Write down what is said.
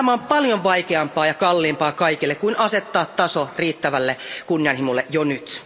Tämä on paljon vaikeampaa ja kalliimpaa kaikille kuin asettaa taso riittävällä kunnianhimolla jo nyt.